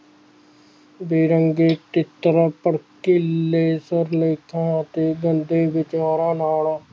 ਬੇਰੰਗੇ ਕਿਚੜਾਂ ਭੜਕੀਲੇ ਸਿਰਲੇਖਾਂ ਤੇ ਗੰਦੇ ਵਿਚਾਰਾਂ ਨਾਲ